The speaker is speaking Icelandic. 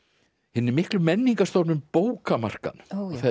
hinni miklu menningarstofnun bókamarkaðnum